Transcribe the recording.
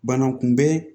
Bana kunbɛn